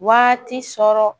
Waati sɔrɔ